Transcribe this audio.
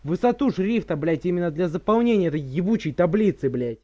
высоту шрифта блять именно для заполнения этой ебучей таблицы блять